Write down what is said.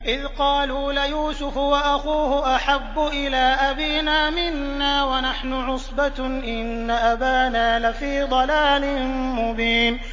إِذْ قَالُوا لَيُوسُفُ وَأَخُوهُ أَحَبُّ إِلَىٰ أَبِينَا مِنَّا وَنَحْنُ عُصْبَةٌ إِنَّ أَبَانَا لَفِي ضَلَالٍ مُّبِينٍ